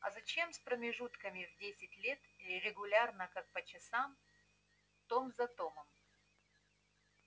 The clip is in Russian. а зачем с промежутками в десять лет регулярно как по часам том за томом